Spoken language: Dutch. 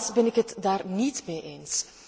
Helaas ben ik het daar niet mee eens.